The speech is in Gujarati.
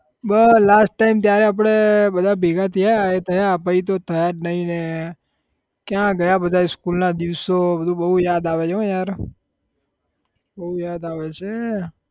બસ last time ત્યારે આપડે બધા ભેગા થયા એ થયા પહી તો થયા જ નઈ ને ક્યાં ગયા બધા school ના દિવસો બધું બહુ યાદ આવે છે હો યાર બહુ યાદ આવે છે